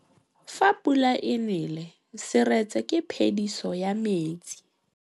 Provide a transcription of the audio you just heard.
Fa pula e nelê serêtsê ke phêdisô ya metsi.